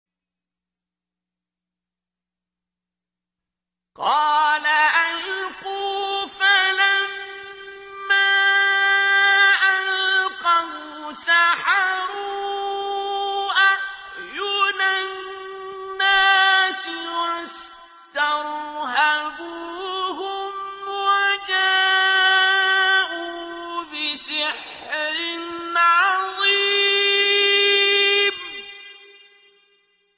قَالَ أَلْقُوا ۖ فَلَمَّا أَلْقَوْا سَحَرُوا أَعْيُنَ النَّاسِ وَاسْتَرْهَبُوهُمْ وَجَاءُوا بِسِحْرٍ عَظِيمٍ